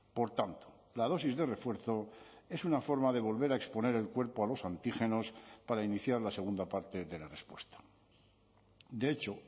por tanto la dosis de refuerzo es una forma de volver a exponer el cuerpo a los antígenos para iniciar la segunda parte de la respuesta de hecho